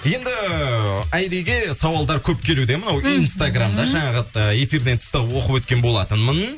енді айриге сауалдар көп келуде мынау инстаграмда жаңағы ыыы эфирден тыста оқып өткен болатынмын